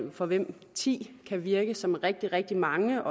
og for hvem ti kan virke som rigtig rigtig mange